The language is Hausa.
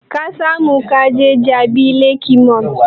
Ka samu kaje jabi lake mall?